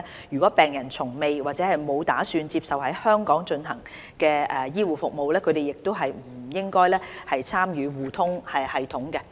如果病人從未或沒有打算接受在香港進行的醫護服務，他們亦不應參與互通系統。